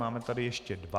Máme tady ještě dva.